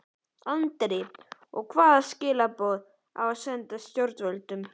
Andri: Og hvaða skilaboð á að senda stjórnvöldum?